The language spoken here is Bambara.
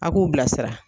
A k'u bilasira